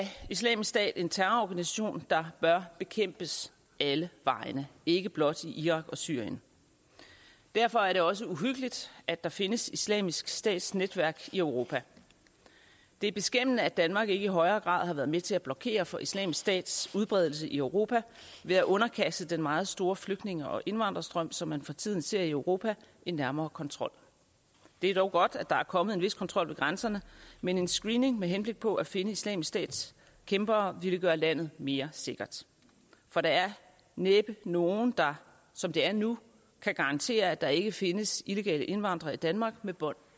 islamisk stat en terrororganisation der bør bekæmpes alle vegne ikke blot i irak og syrien derfor er det også uhyggeligt at der findes islamisk stats netværk i europa det er beskæmmende at danmark ikke i højere grad har været med til at blokere for islamisk stats udbredelse i europa ved at underkaste den meget store flygtninge og indvandrerstrøm som man for tiden ser i europa en nærmere kontrol det er dog godt at der er kommet en vis kontrol ved grænserne men en screening med henblik på at finde islamisk stats kæmpere ville gøre landet mere sikkert for der er næppe nogen der som det er nu kan garantere at der ikke findes illegale indvandrere i danmark med bånd